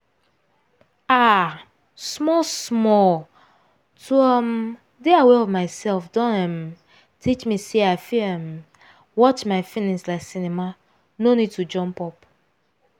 um small small to um dey aware of myself don um teach me say i fit um watch my feelings like cinema no need to jump up